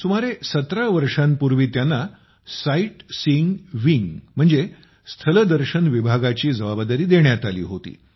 सुमारे 17 वर्षांपूर्वी त्यांना साईटसीइंग विंग स्थलदर्शन विभागाची जबाबदारी देण्यात आली होती